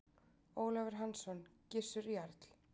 Ólafur Hansson: Gissur jarl.